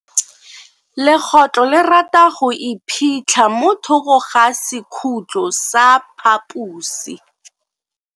Legoylo le rata go iphitlha mo thoko ga sekhutlo sa phaposi.